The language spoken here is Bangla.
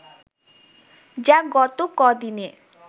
যা গত কদিনে